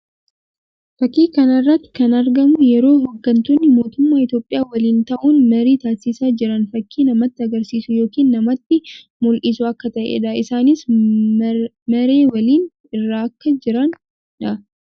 Fakkii kana irratti kan argamu yeroo hoggantoonni mootummaa Itoophiyaa waliin ta'uun marii taasisaa jiran fakkii namatti agarsiisu yookiin namatti mul'isu akka ta'ee dha. Isaanis maree waliin irra akka jiran dha.